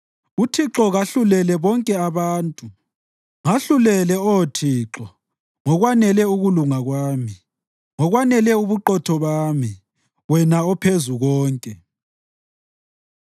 UThixo kahlulele bonke abantu. Ngahlulele, Oh Thixo ngokwanele ukulunga kwami, ngokwanele ubuqotho bami, wena oPhezukonke.